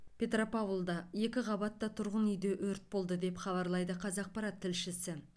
петропавлда екі қабатты тұрғын үйде өрт болды деп хабарлайды қазақпарат тілшісі